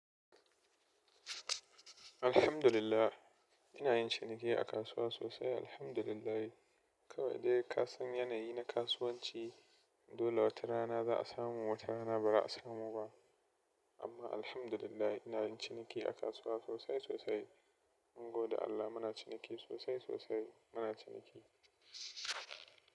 Alhamdulillah, ina yin ciniki a kasuwa sosai Alhamdulillahi. Kawai dai kasan yanayi na kasuwanci, dole wata rana za'a samu wata rana ba za'a samu ba. Amma Alhamdulillahi, ina yin ciniki a kasuwa sosai-sosai. Mun gode Allah muna ciniki sosai-sosai, muna ciniki.